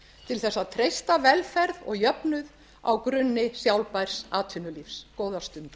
til þess að treysta velferð og jöfnuð á grunni sjálfbærs atvinnulífs góðar stundir